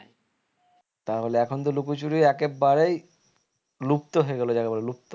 তাহলে এখন তো লুকোচুরি একেবারেই লুপ্ত হয়ে গেল যাকে বলে লুপ্ত